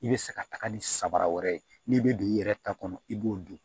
I bɛ se ka taga ni sabara wɛrɛ ye n'i bɛ don i yɛrɛ ta kɔnɔ i b'o don